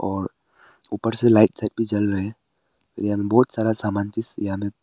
और ऊपर से लाइट साइट भी जल रहा हैं यहाँ बहोत सारा सामान जैसे यहाँ पे--